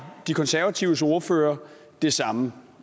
de konservatives ordfører det samme